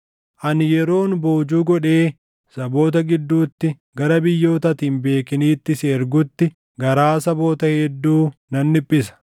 Ani yeroon boojuu godhee saboota gidduutti gara biyyoota ati hin beekiniitti si ergutti garaa saboota hedduu nan dhiphisa.